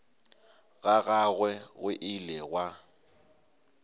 ga gagwe go ile gwa